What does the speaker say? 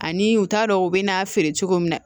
Ani u t'a dɔn u bɛ n'a feere cogo min na